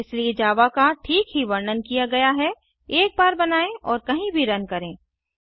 इसलिए जावा का ठीक ही वर्णन किया गया हैएक बार बनाएँ और कही भी रन करें